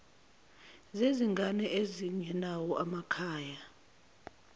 zezingane ezingenawo amakhaya